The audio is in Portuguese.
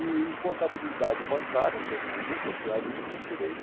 E em contabilidade bancária, que eu não nunca tinha visto, eu tirei